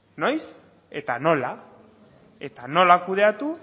noiz eta nola eta nola kudeatu